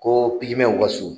Koo pigimɛw ka so